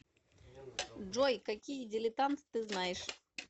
джой какие дилетант ты знаешь